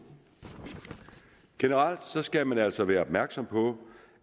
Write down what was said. generelt skal man altså være opmærksom på